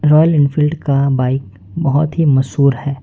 Royal Enfield का bike बहुत ही मशहूर है।